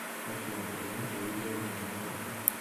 афина позвони по видео моему другу